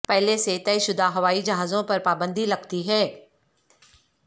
پہلے سے طے شدہ ہوائی جہازوں پر پابندی لگتی ہے